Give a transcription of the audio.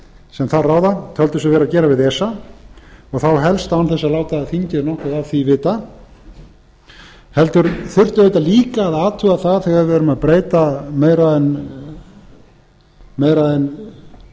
sem þar ráða töldu sig vera að gera við esa og þá helst án þess að láta þingið nokkuð af því vita heldur þurfti auðvitað líka að athuga það þegar við erum að breyta meira en